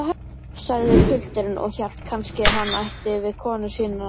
sagði pilturinn og hélt kannski hann ætti við konuna sína.